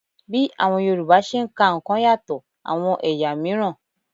Bí àwọn Yorùbá ṣe ń ka nǹkan yàtọ̀ àwọn ẹ̀yà miran